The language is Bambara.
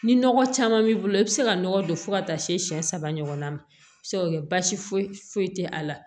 Ni nɔgɔ caman b'i bolo i bi se ka nɔgɔ don fo ka taa se siɲɛ saba ɲɔgɔnna ma a bi se ka kɛ basi foyi foyi tɛ a la